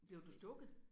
Blev du stukket?